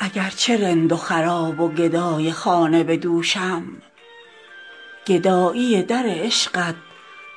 اگرچه رند و خراب و گدای خانه به دوشم گدایی در عشقت